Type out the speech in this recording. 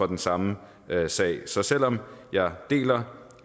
den samme sag så selv om jeg deler